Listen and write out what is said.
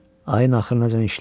Ayın axırına işlərəm.